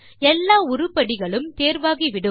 எல்லா உருப்படிகளும் தேர்வாகிவிடும்